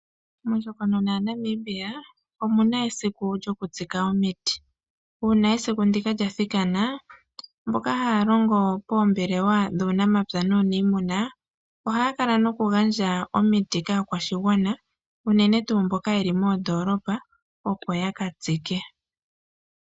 Mondjokonona yaNamibia omuna esiku lyoku tsika omiti. Uuna esiku ndika lya thikana, mboka haalongo poombelewa dhuunamapya nuunimuna ohaya kala nokugandja omiti kaakwashigwana unene tuu mboka yeli moondolopa opo yaka tsike.